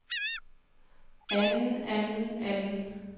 anden anden anden